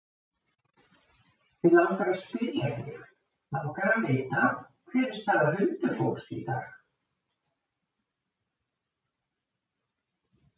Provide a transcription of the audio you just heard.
Mig langar að spyrja þig. langar að vita. hver er staða huldufólks í dag?